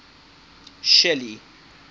shelly